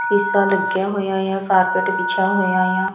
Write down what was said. ਸ਼ੀਸ਼ਾ ਲੱਗਿਆ ਹੋਇਆ ਆ ਕਾਰਪੇਟ ਵਿਛਿਆ ਹੋਇਆ ਆ।